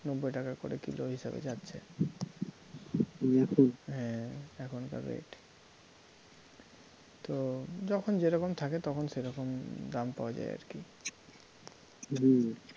নব্বই টাকা করে কিলো হিসেবে যাচ্ছে হ্যাঁ এখনকার rate তো যখন যেরকম থাকে তখন সেরকম দাম পাওয়া যায় আর কী হম